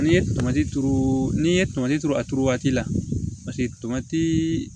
N'i ye tomati turu n'i ye tomati turu a turu waati la tomatii